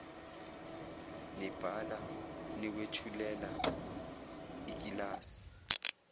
nibhala niwethulela ikilasi